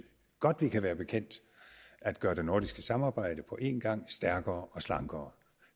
godt vi kan være bekendt at gøre det nordiske samarbejde på en gang stærkere og slankere